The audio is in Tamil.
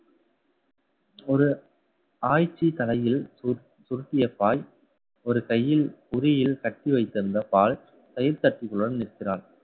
ஒரு ஆய்ச்சி தலையில் சுருட்~ சுருட்டிய பாய் ஒரு கையில் உரியில் கட்டி வைத்திருந்த பால் தட்டிகளுடன் நிற்கிறான்